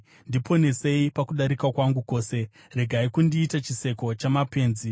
Ndiponesei pakudarika kwangu kwose; regai kundiita chiseko chamapenzi.